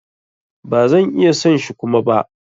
Ba zan iya son shi Kuma ba.